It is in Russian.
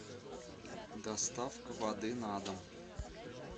доставка воды на дом